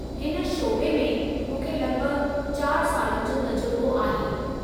हिन शोबे में मूंखे लगि॒भगि॒ चार सालनि जो तजुरिबो आहे।